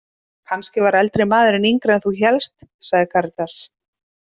Kannski var eldri maðurinn yngri en þú hélst, sagði Karítas.